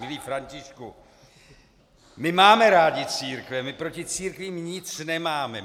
Milý Františku, my máme rádi církve, my proti církvím nic nemáme.